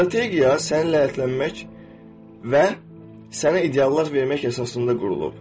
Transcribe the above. Strategiya səni lətlənmək və sənə ideyalar vermək əsasında qurulub.